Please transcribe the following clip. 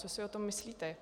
Co si o tom myslíte?